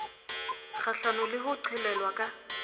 kgahlano le ho qhelelwa ka